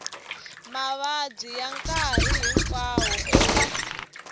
mavabyi ya nkarhi hinkwawo eka